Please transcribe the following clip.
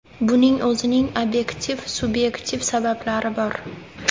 Buning o‘zining obyektiv-subyektiv sabablari bor.